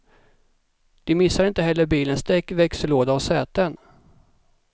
De missade inte heller bilens däck, växellåda och säten.